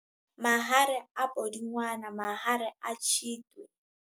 Mahare a Pudungwana - mahare a Tshitwe